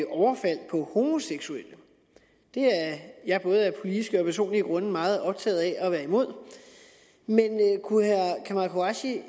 overfald på homoseksuelle det er jeg af både politiske og personlige grunde meget optaget af at være imod men kunne herre kamal qureshi